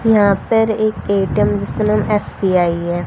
यहां पर एक ए_टी_एम जिसका नाम एस_बी_आई है।